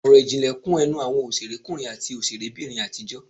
Ọ̀rọ̀ ìjìnlẹ̀ kún ẹnu àwọn òṣèrékùnrin àti òṣèrébìnrin àtijọ́